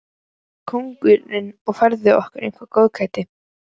Oft kom kokkurinn og færði okkur eitthvert góðgæti.